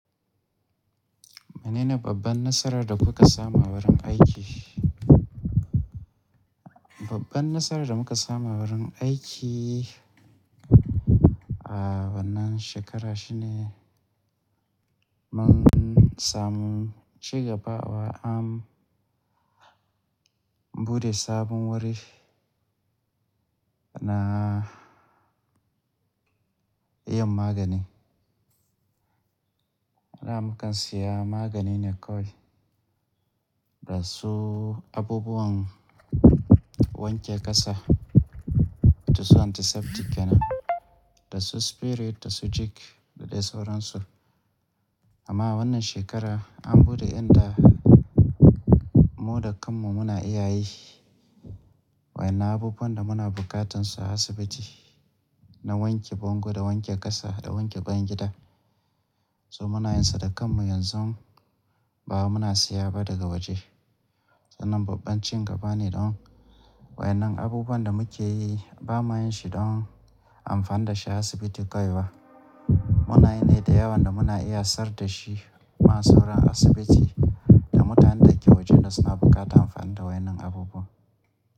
Menene babban nasarar da kuka samu a wurin aiki? Babban nasarar da muka samu a wurin aiki a wannan shekara shine mun samu ci gaba wa an buɗe sabon wuri na yin magani. Da mukan siya magani ne kawai da su abubuwan wanke ƙasa, da su antiseptic kena, da su spirit, da su jig da dai sauran su. Amma wannan shekara an buɗe inda mu da kanmu muna iya yi wa in nan abubuwan da muna bukatun su a asibiti na wanke bango, da wanke ƙasa, da wanke bayan gida. So muna yin sa da kanmu yanzu ba mu na siya ba daga waje. Sannan babban ci gaba ne don wa in nan abubuwan da muke yi ba ma yin shi don amfani da shi a asibiti kawai ba. Muna yanayi da yawa da muna iya sayar da shi ma sauran asibiti da mutanen da ke wajen da suna bukata amfani da wai nan abubuwa.